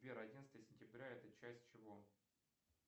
сбер одиннадцатое сентября это часть чего